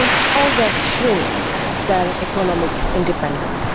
All this shrinks their economic independence.